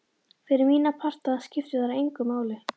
Fyrir mína parta skipti það engu máli.